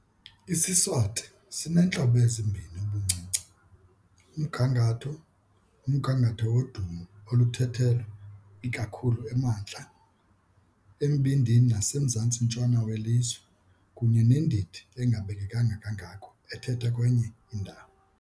IsiSwati sineentlobo ezimbini ubuncinci- umgangatho, umgangatho wodumo oluthethwa ikakhulu emantla, embindini nasemzantsi-ntshona welizwe, kunye nendidi engabekekanga kangako ethethwa kwenye indawo.